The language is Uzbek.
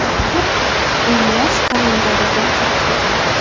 Ular emlash kalendariga kiritilgan.